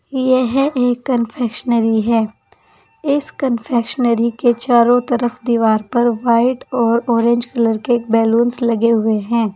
यह है एक कन्फेशनरी है इस कन्फेशनरी के चारों तरफ दीवार पर वाइट और ऑरेंज कलर के बलूंस लगे हुए हैं।